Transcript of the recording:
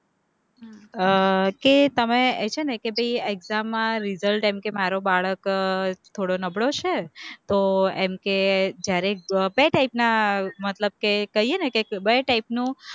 અહહહ કે તમે છે ને કે ભાઈ exam માં result એમ કે મારુ બાળક થોડો નબળો છે, તો એમ કે જયારે કઈ type ના મતલબ કે કહીયે ને કે બે type નું